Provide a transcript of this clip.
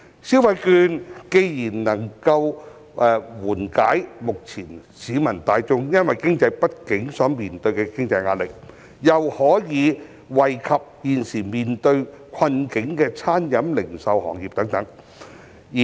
消費券既能緩解目前市民大眾因經濟不景所面對的經濟壓力，又可以惠及現時面對困境的餐飲業、零售業等。